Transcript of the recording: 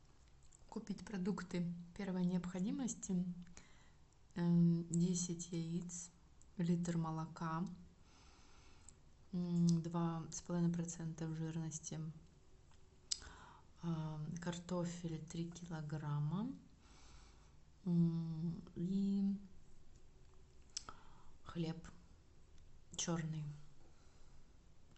купить продукты первой необходимости десять яиц литр молока два с половиной процента жирности картофель три килограмма и хлеб черный